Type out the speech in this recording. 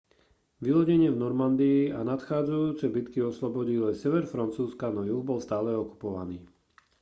vylodenie v normandii a nadchádzajúce bitky oslobodili sever francúzska no juh bol stále okupovaný